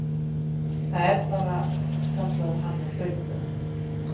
Það er bara, kallaði hann á hlaupunum.